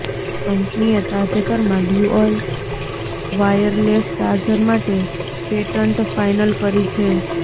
કંપનીએ તાજેતરમાં dual wireless charger માટે પેટન્ટ ફાઇલ કરી છે